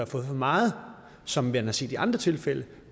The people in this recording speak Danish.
fået for meget som man har set i andre tilfælde